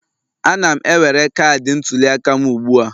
Ana m ewere cadi ntuliaka m ugbu a